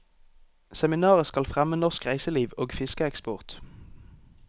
Seminaret skal fremme norsk reiseliv og fiskeeksport.